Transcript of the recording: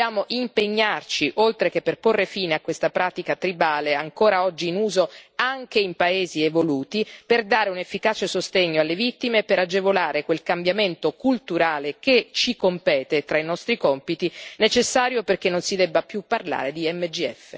Dobbiamo impegnarci, oltre che per porre fine a questa pratica tribale, ancora oggi in uso anche in paesi evoluti, per dare un efficace sostegno alle vittime e per agevolare quel cambiamento culturale che ci compete tra i nostri compiti, necessario perché non si debba più parlare di MGF.